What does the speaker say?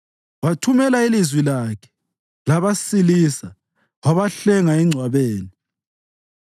Wathumela ilizwi lakhe labasilisa; wabahlenga engcwabeni.